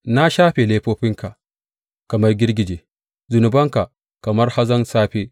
Na shafe laifofinka kamar girgije, zunubanka kamar hazon safe.